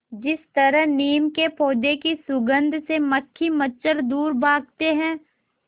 जिस तरह नीम के पौधे की सुगंध से मक्खी मच्छर दूर भागते हैं